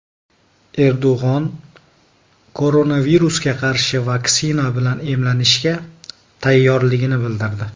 Erdo‘g‘on koronavirusga qarshi vaksina bilan emlanishga tayyorligini bildirdi.